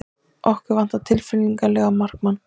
Okkur vantar tilfinnanlega markmann.